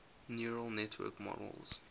neural network models